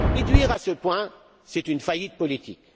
Le réduire à ce point, c'est une faillite politique